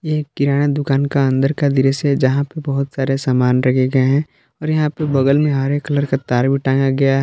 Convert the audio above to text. एक किराना दुकान का अंदर का दृसय है जहां पे बहुत सारे सामान रखे गए हैं और यहां पे बगल में हरे कलर का तार भी टांगा गया है।